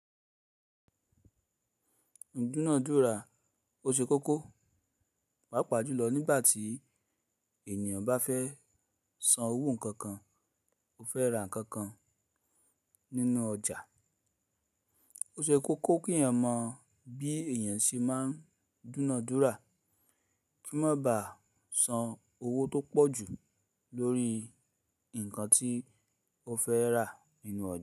Dúnádúrà o ṣe kókó, pàápàá jùlọ nígbà tí ènìyàn bá fẹ́ san owó kookan ó fẹ́ ra nǹkan kan nínú ọjà. O ṣe kókó kí èyàn mọ bí èyàn ṣe máa ń dúnádúrà kí wọ́n má baà san owó tó pọ̀ jù lórí nǹkan tí ó fẹ́ rà nínú ọjà.